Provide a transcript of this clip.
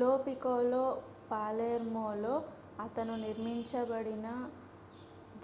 లో పికోలో పాలెర్మోలో అతను నిరూపించబడిన